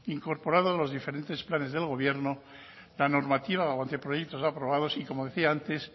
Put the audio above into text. incorporados a los diferentes planes del gobierno la normativa o anteproyectos ya aprobados y como decía antes